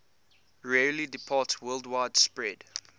rarely departsworldwide spread